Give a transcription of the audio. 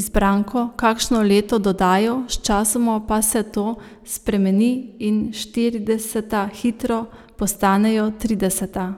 izbranko, kakšno leto dodajo, sčasoma pa se to spremeni in štirideseta hitro postanejo trideseta.